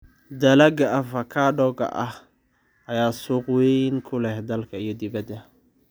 Dalagga avocado-ka ayaa suuq weyn ku leh dalka iyo dibadda.